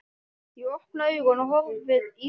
Ég opna augun og horfi í þín.